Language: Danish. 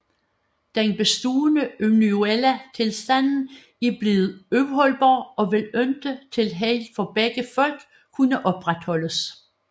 Den bestaaende unionelle Tilstand er bleven uholdbar og vil ikke til Held for begge Folk kunne opretholdes